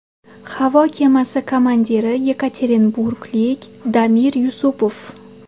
Havo kemasi komandiri yekaterinburglik Damir Yusupov.